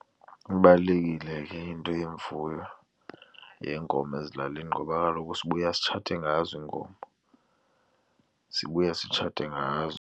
Ibalulekile ke into yemfuyo yeenkomo ezilalini ngoba kaloku sibuya sitshatile ngazo iinkomo, sibuya sitshatile ngazo.